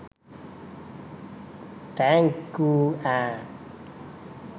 Thank you ඈ.